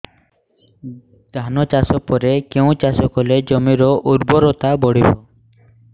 ଧାନ ଚାଷ ପରେ କେଉଁ ଚାଷ କଲେ ଜମିର ଉର୍ବରତା ବଢିବ